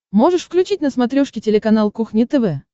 можешь включить на смотрешке телеканал кухня тв